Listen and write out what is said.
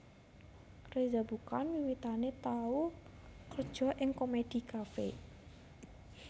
Reza Bukan wiwitané tau kerja ing Komedi Kafe